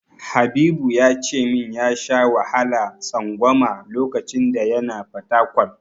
Habibu ya ce min ya sha wahalar tsangwama lokacin da yana Fatakwal.